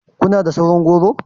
Kuna da sauran goro?